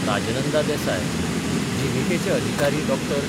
राजनंदा देसाय, जीव्हीकेचे अधिकारी डॉ.